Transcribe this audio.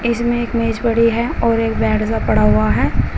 इसमें एक मेज पड़ी है और एक बैड सा पड़ा हुआ है।